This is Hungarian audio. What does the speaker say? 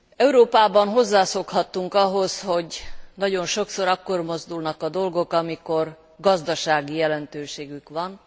Európában hozzászokhattunk ahhoz, hogy nagyon sokszor akkor mozdulnak a dolgok, amikor gazdasági jelentőségük van.